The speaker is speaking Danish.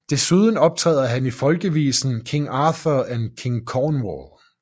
Desuden optræder han i folkevisen King Arthur and King Cornwall